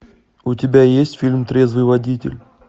у тебя есть фильм трезвый водитель